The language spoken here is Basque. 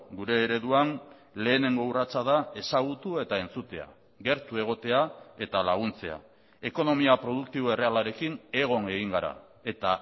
gure ereduan lehenengo urratsa da ezagutu eta entzutea gertu egotea eta laguntzea ekonomia produktibo errealarekin egon egin gara eta